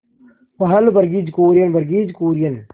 पहल वर्गीज कुरियन वर्गीज कुरियन